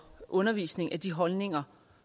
undervisning af de holdninger